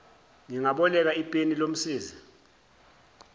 ngingaboleka ipeni lomsizi